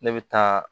Ne bɛ taa